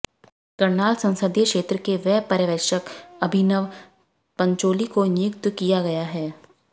करनाल संसदीय क्षेत्र के लिए व्यय पर्यवेक्षक अभिनव पंचौली को नियुक्त किया गया है